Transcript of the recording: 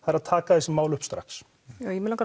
taka þessi mál upp strax mig langar